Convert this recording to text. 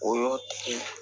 O y'o tigi